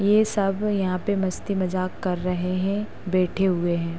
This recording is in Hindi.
ये सब यहाँ पे मस्ती मजाक कर रहे हैं। बैठे हुए हैं।